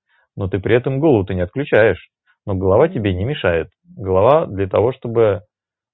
но и при этом году ты не отключаешь но голова тебе не мешает голова для того чтобы